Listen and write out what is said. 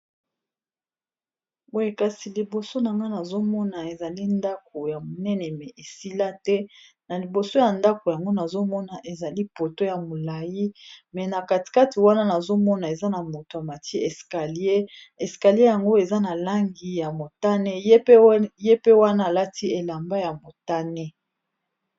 Boyekasi liboso na nga nazomona ezali ndako ya monene me esila te na liboso ya ndako yango nazomona ezali poto ya molai me na katikati wana nazomona eza na moto a matie eskalier eskalier yango eza na langi ya motane ye pe wana alati elamba ya motane